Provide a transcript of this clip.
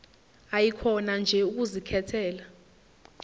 ayikhona nje ukuzikhethela